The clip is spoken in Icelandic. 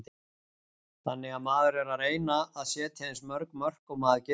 Þannig að maður er að reyna að setja eins mörg mörk og maður getur.